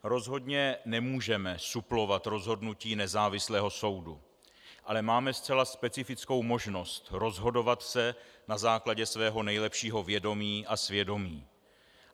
Rozhodně nemůžeme suplovat rozhodnutí nezávislého soudu, ale máme zcela specifickou možnost rozhodovat se na základě svého nejlepšího vědomí a svědomí.